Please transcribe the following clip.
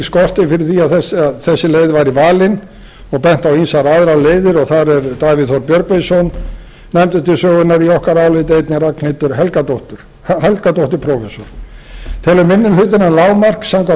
að rökstuðning skorti fyrir því að þessi leið væri valin og bent á ýmsar aðrar leiðir það er davíð þór björgvinsson nefndur til sögunnar í okkar áliti og einnig ragnhildur helgadóttir prófessor telur minni hlutinn að lágmark samkvæmt